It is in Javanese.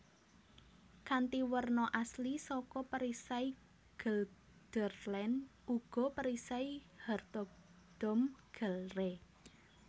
Kanthi werna asli saka perisai Gelderland uga perisai Hertogdom Gelre